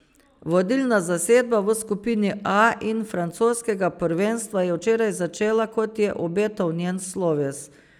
Vodilna zasedba v skupini A in francoskega prvenstva je včeraj začela, kot je obetal njen sloves.